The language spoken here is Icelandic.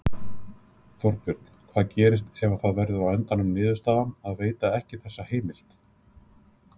Þorbjörn: Hvað gerist ef að það verður á endanum niðurstaðan að veita ekki þessa heimild?